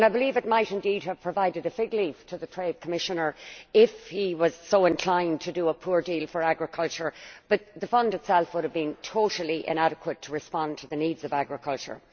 I believe it might indeed have provided a fig leaf to the Trade Commissioner, if he was so inclined to do a poor deal for agriculture, but the fund itself would have been totally inadequate to respond to the needs of agriculture.